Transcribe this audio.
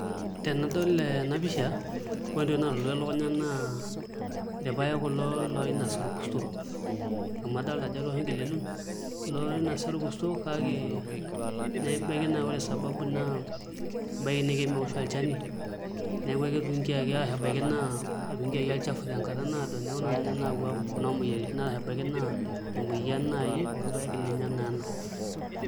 Tenadol ena pisha ore entoki naalotu elukunya naa irpaek kulo loinasa orkurto amu adolta ajo etoosho nkilelun loinosa orkurto kake nebaiki naa naa ore sababu naa ebaiki naa kemeosho olchani neeku ketii ebaiki naa etuungiki olchafu tenkata naado neeku naa ninye nayaua imoyiaritin arashu ebaiki naa emoyian naai orpaek ninye naa ena.